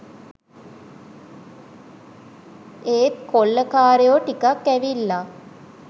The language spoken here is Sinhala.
ඒත් කොල්ලකාරයෝ ටිකක් ඇවිල්ලා